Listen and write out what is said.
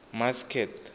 masked